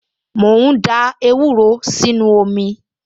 Mò ń da ewúro sínú omi